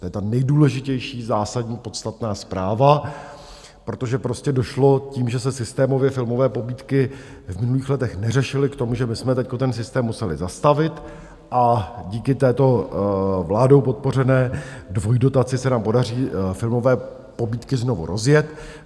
To je ta nejdůležitější, zásadní, podstatná zpráva, protože prostě došlo tím, že se systémově filmové pobídky v minulých letech neřešily, k tomu, že my jsme teď ten systém museli zastavit, a díky této vládou podpořené dvojdotaci se nám podaří filmové pobídky znovu rozjet.